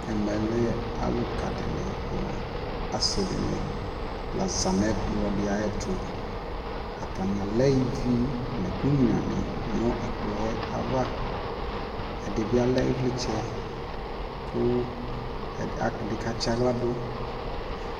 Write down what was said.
ɛmɛkɛ alʋka dini nʋ asii dini la zanʋ ɛkplɔ ayɛtʋ, atani alɛ ivi nʋ ɛkʋ nyʋa ni nʋ ɛkplɔɛ aɣa, ɛdibi alɛ ivlitsɛ kʋ ɛdi ka tsiala dʋ